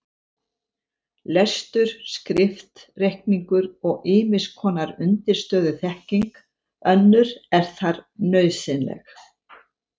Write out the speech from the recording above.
Lestur, skrift, reikningur og ýmiss konar undirstöðuþekking önnur er þar nauðsynleg.